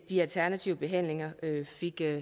de alternative behandlinger